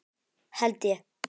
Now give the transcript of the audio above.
Held ég!